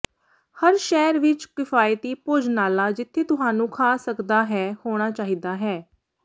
ਹਰ ਸ਼ਹਿਰ ਵਿੱਚ ਕਿਫਾਇਤੀ ਭੋਜਨਾਲਾ ਜਿੱਥੇ ਤੁਹਾਨੂੰ ਖਾ ਸਕਦਾ ਹੈ ਹੋਣਾ ਚਾਹੀਦਾ ਹੈ